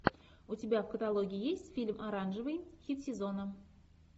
у тебя в каталоге есть фильм оранжевый хит сезона